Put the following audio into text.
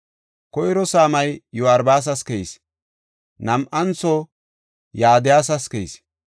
Koyro saamay Yo7aaribas keyis; nam7anthoy Yadayas keyis.